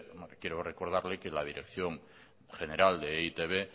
quiero recordarle que la dirección general de e i te be